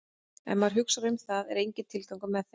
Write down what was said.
Ef maður hugsar um það er enginn tilgangur með þeim.